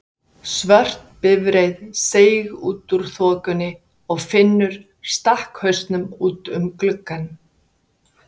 Svört bifreið seig út úr þokunni og Finnur stakk hausnum út um gluggann.